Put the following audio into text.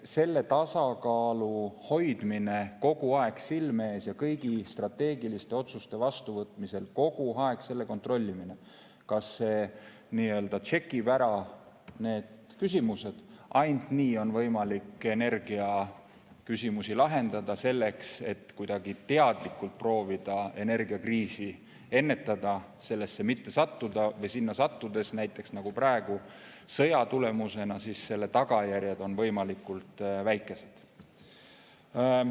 Selle tasakaalu hoidmine kogu aeg silme ees kõigi strateegiliste otsuste vastuvõtmisel, kogu aeg kontrollimine, kas see nii-öelda tšekib ära need küsimused – ainult nii on võimalik energiaküsimusi lahendada ja kuidagi teadlikult proovida energiakriisi ennetada, sellesse mitte sattuda või sinna sattudes – näiteks nagu praegu sõja tulemusena – tagada, et selle tagajärjed on võimalikult väikesed.